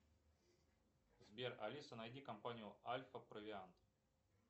сбер алиса найди компанию альфа провиант